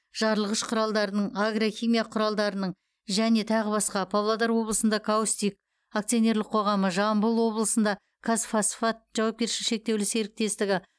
жарылғыш құралдарының агрохимия құралдарының және тағы басқа павлодар облысында каустик акционерлік қоғамы жамбыл облысында қазфосфат жауапкершілігі шектеулі серіктестігі